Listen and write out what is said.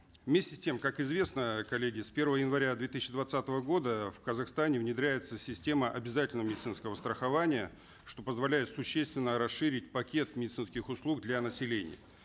вместе с тем как известно коллеги с первого января две тысячи двадцатого года в казахстане внедряется система обязательного медицинского страхования что позволяет существенно расширить пакет медицинских услуг для населения